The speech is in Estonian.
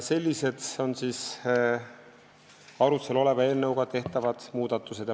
Sellised on siis arutlusel oleva eelnõuga tehtavad muudatused.